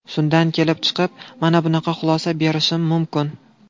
Shundan kelib chiqib, mana bunaqa xulosa berishim mumkin.